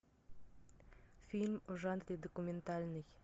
фильм в жанре документальный